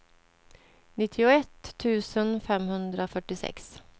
nittioett tusen femhundrafyrtiosex